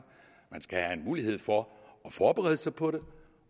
at man skal have en mulighed for at forberede sig på det